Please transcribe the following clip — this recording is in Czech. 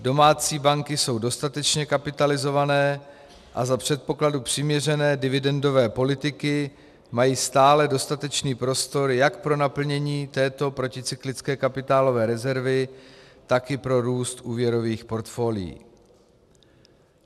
Domácí banky jsou dostatečně kapitalizované a za předpokladu přiměřené dividendové politiky mají stále dostatečný prostor jak pro naplnění této proticyklické kapitálové rezervy, tak i pro růst úvěrových portfolií.